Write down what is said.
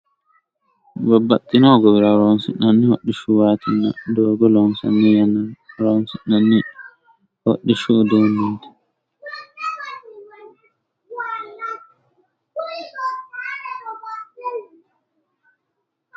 babbaxxino hoguwira horoonsinanni hoxxishshuwatinna doogo loonsanni yannara woy horoonsinanni hodhishshu udduneti.